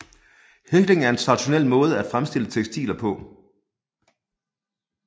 Hækling er en traditionel måde at fremstille tekstiler på